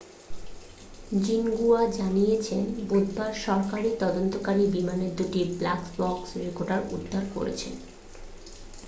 Xinhua জানিয়েছে বুধবার সরকারি তদন্তকারীরা বিমানের দুটি ব্ল্যাক বক্স' রেকর্ডার উদ্ধার করেছে